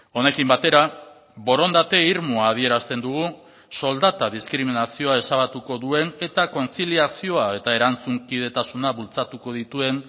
honekin batera borondate irmoa adierazten dugu soldata diskriminazioa ezabatuko duen eta kontziliazioa eta erantzunkidetasuna bultzatuko dituen